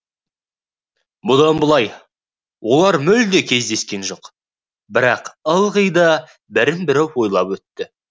бұдан былай олар мүлде кездескен жоқ бірақ ылғи да бірін бірі ойлап өтті